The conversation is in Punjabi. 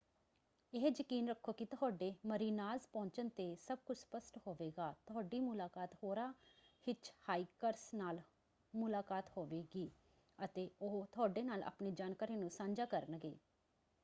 ਇਹ ਯਕੀਨ ਰੱਖੋ ਕਿ ਤੁਹਾਡੇ ਮਰੀਨਾਜ਼ ਪਹੁੰਚਣ ‘ਤੇ ਸਭ ਕੁੱਝ ਸਪੱਸ਼ਟ ਹੋਵੇਗਾ। ਤੁਹਾਡੀ ਮੁਲਾਕਾਤ ਹੋਰਾਂ ਹਿੱਚਹਾਈਕਰਸ ਨਾਲ ਮੁਲਾਕਾਤ ਹੋਵੇਗੀ ਅਤੇ ਉਹ ਤੁਹਾਡੇ ਨਾਲ ਆਪਣੀ ਜਾਣਕਾਰੀ ਨੂੰ ਸਾਂਝਾ ਕਰਨਗੇ।